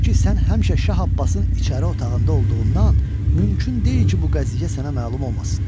Çünki sən həmişə Şah Abbasın içəri otağında olduğundan mümkün deyil ki, bu qəziyyə sənə məlum olmasın."